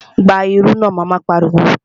Gba irú náà! Mama pariwo